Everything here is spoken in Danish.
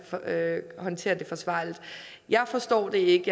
håndtere det forsvarligt jeg forstår det ikke